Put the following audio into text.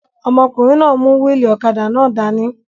Ọmọkùnrin náà n mú wíìlì ọ̀kadà náà dání